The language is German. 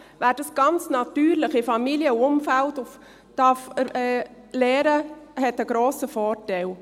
Wer dies ganz natürlich in der Familie und im Umfeld lernen darf, hat einen grossen Vorteil.